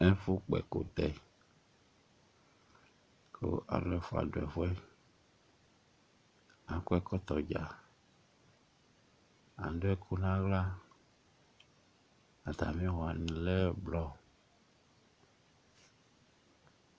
Ɛfʋ kpɔ ɛkʋtɛ kʋ alu ɛfʋa du ɛfʋɛ Akɔ ɛkɔtɔ dza Adu ɛku nʋ aɣla Atami awu wani lɛ ɛblɔ